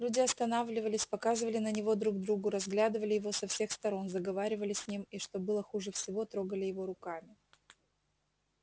люди останавливались показывали на него друг другу разглядывали его со всех сторон заговаривали с ним и что было хуже всего трогали его руками